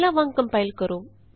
ਪਹਿਲਾਂ ਵਾਂਗ ਕੰਪਾਇਲ ਕਰੋ